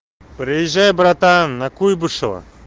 приезжай братан на куйбышева